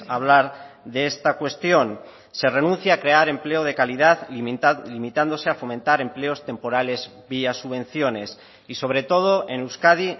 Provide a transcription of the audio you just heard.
hablar de esta cuestión se renuncia a crear empleo de calidad limitándose a fomentar empleos temporales vía subvenciones y sobre todo en euskadi